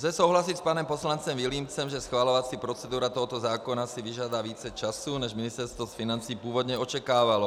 Lze souhlasit s panem poslancem Vilímcem, že schvalovací procedura tohoto zákona si vyžádá více času, než Ministerstvo financí původně očekávalo.